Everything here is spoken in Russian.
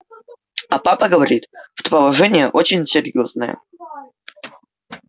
а папа говорит что положение очень серьёзное